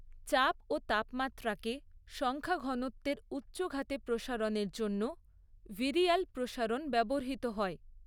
চাপ ও তাপমাত্রাকে সংখ্যাঘনত্বের উচ্চঘাতে প্রসারণের জন্য ভিরিয়াল প্রসারণ ব্যবহৃত হয়।